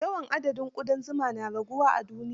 Yawan adadin ƙudan zuma na raguwa a duniya.